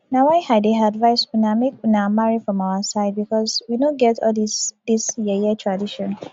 na why i dey advise una make una marry from our side because we no get all dis dis yeye tradition